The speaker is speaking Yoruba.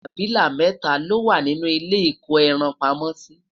abilà mẹta lowa nínú ilé iko ẹran pamó si